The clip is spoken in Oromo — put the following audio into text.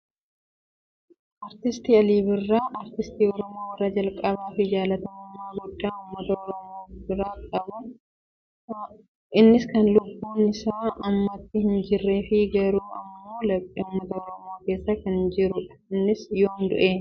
Aartist Alii Birraa aartistii Oromoo warra jalqabaa fi jaallatamummaa guddaa uummata Oromoo biratti kan qabuu dha. Innis kan lubbuun yeroo ammaatti hin jirree fi garuu immoo laphee uummata Oromoo keessa kan jiruu dha. Innis yoom du'e?